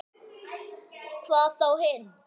Hvað þá hinn.